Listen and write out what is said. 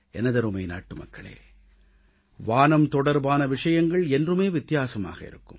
எனதருமை நாட்டுமக்களே வானம் தொடர்பான விஷயங்கள் என்றுமே வித்தியாசமாக இருக்கும்